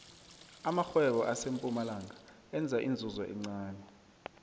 amarhwebo asempumalanga enza inzuzo encani